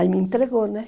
Aí me entregou, né?